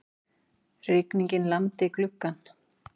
Rigningin lamdi gluggann.